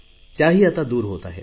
त्याही आता दूर होत आहेत